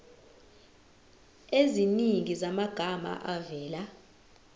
eziningi zamagama avela